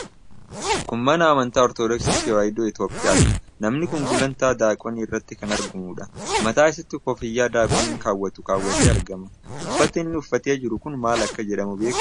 Kun nama amantaa amantii Ortodoksii Tewaayidoo Itoophiyaati. Nami kun gulantaa Daaqonii irratti kan argamuudha. Mataa isaatti kooffiyyaa Daaqoniin kawwatu kaawwatee argama. Uffati inni uuffatee jiru kun maal akka jedhamu beektaa?